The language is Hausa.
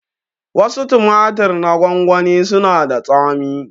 Wasu tumatir na gwangwani suna da tsami